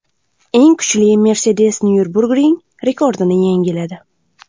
Eng kuchli Mercedes Nyurburgring rekordini yangiladi.